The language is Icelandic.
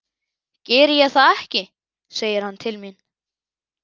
Geri ég það ekki, segir hann til mín.